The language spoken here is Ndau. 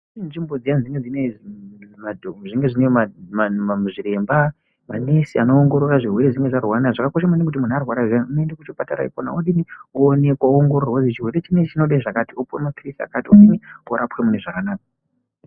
Kune nzvimbo dziyani dzinenge dzine zviremba, manesi anoongorora zvirwere zvimweni zvaanorwara nazvo, zvakakosha maningi kuti munhu arwara zviyani unoenda kuchipatara ikona oonekwa, andoongororwa kuti chirwere chinechi chinoda zvakati, opuwa mapirizi akati omwa orapwa mune zvakanaka.